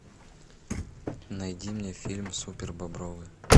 найди мне фильм супербобровы